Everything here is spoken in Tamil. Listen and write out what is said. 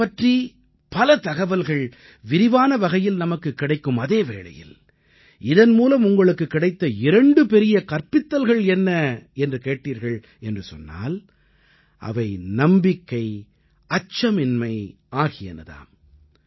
நிலவைப் பற்றி பல தகவல்கள் விரிவான வகையில் நமக்குக் கிடைக்கும் அதே வேளையில் இதன் மூலம் உங்களுக்குக் கிடைத்த இரண்டு பெரிய கற்பித்தல்கள் என்ன என்று கேட்டீர்கள் என்று சொன்னால் அவை நம்பிக்கை அச்சமின்மை ஆகியன தாம்